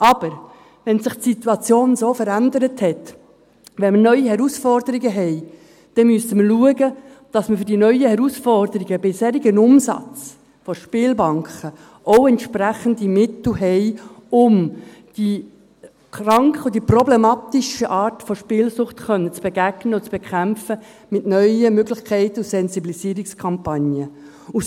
Aber: Nachdem sich die Situation, weil wir neue Herausforderungen haben, so verändert hat, müssen wir schauen, dass wir für die neuen Herausforderungen bei einem solchen Umsatz der Spielbanken dann auch entsprechende Mittel haben, um den kranken und problematischen Arten der Spielsucht begegnen und diese mit neuen Möglichkeiten und Sensibilisierungskampagnen bekämpfen zu können.